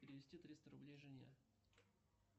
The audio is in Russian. перевести триста рублей жене